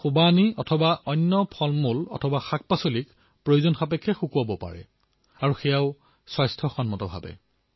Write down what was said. এই ফল বিধে অন্য শাকপাচলিক প্ৰয়োজন অনুসৰি শুকুৱাব পাৰে আৰু এয়া স্বাস্থ্যসন্মতো হয়